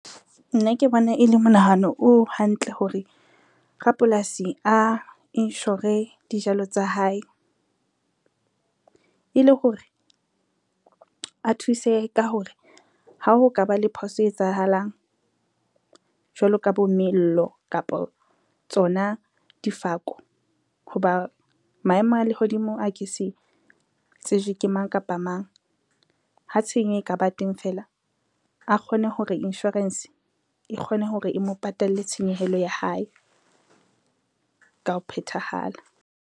Nna ke bona e le monahano o hantle hore, rapolasi a inshore dijalo tsa hae, e le hore a thusehe ka hore ha ho ka ba le phoso etsahalang jwalo ka bo mello, kapo tsona difako ho ba maemo a lehodimo a ke se tsejwe ke mang kapa mang. Ha tshenyo e ka ba teng fela a kgone hore insurance e kgone hore e mo patalle tshenyehelo ya hae ka ho phethahala.